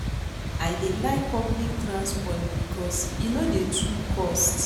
I dey like public transport because e no dey too cost.